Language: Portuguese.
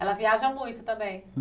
Ela viaja muito também?